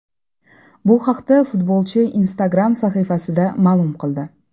Bu haqda futbolchi Instagram sahifasida ma’lum qildi .